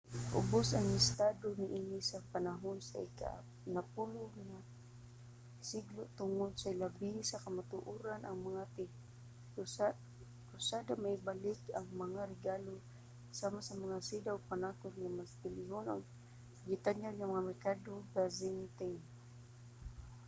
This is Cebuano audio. miubos ang estado niini sa panahon sa ika-napulo'g duha nga siglo tungod ilabina sa kamatuoran nga ang mga tig-krusada mibalik dala ang mga regalo sama sa mga seda ug panakot nga mas bilihon labi pa sa gitanyag sa mga merkado sa byzantine